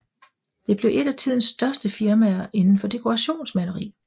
Det blev et af tidens største firmaer inden for dekorationsmaleri